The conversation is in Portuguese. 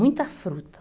Muita fruta.